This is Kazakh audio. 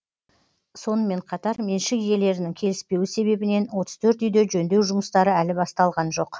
сонымен қатар меншік иелерінің келіспеуі себебінен отыз төрт үйде жөндеу жұмыстары әлі басталған жоқ